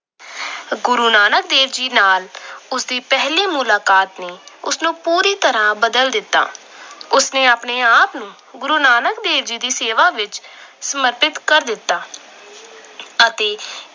ਗੁਰੂ ਨਾਨਕ ਦੇਵ ਜੀ ਨਾਲ ਉਸ ਦੀ ਪਹਿਲੀ ਮੁਲਾਕਾਤ ਨੇ ਉਸਨੂੰ ਪੂਰੀ ਤਰ੍ਹਾਂ ਬਦਲ ਦਿੱਤਾ। ਉਸ ਨੇ ਆਪਣੇ ਆਪ ਨੂੰ ਗੁਰੂ ਨਾਨਕ ਦੇਵ ਜੀ ਦੀ ਸੇਵਾ ਵਿੱਚ ਸਮਰਪਿਤ ਕਰ ਦਿੱਤਾ। ਅਤੇ ਇਸ ਤਰ੍ਹਾਂ ਉਸਨੇ